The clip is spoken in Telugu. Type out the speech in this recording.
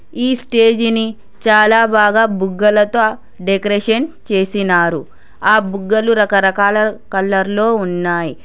ఈ స్టేజిని చాలా బాగా బుగ్గలతో డెకరేషన్ చేసినారు ఆ బుగ్గలు రకరకాల కలర్లో ఉన్నాయి.